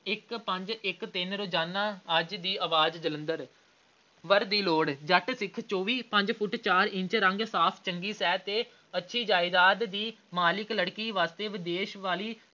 ਇੱਕ ਪੰਜ ਇੱਕ ਤਿੰਨ ਰੋਜ਼ਾਨਾ ਅੱਜ ਦੀ ਆਵਾਜ਼ ਜਲੰਧਰ। ਵਰ ਦੀ ਲੋੜ ਜੱਟ ਸਿੱਖ ਚੌਵੀ ਪੰਜ ਫੁੱਟ ਚਾਰ ਇੰਚ ਰੰਗ ਸਾਫ਼ ਚੰਗੀ ਸਿਹਤ ਤੇ ਅੱਛੀ ਜਾਇਦਾਦ ਦੀ ਮਾਲਕ ਲੜਕੀ ਵਾਸਤੇ ਵਿਦੇਸ਼ ਵਾਲੇ